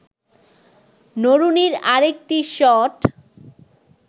নরুনির আরেকটি শট